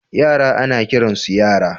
Yara ana kiransu yara.